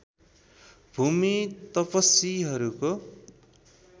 भुमी तपश्वीहरूको